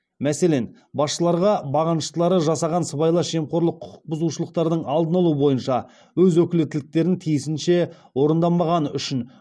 мәселен басшыларға бағыныштылары жасаған сыбайлас жемқорлық құқық бұзушылықтардың алдын алу бойынша өз өкілеттіліктерін тиісінше орындамағаны үшін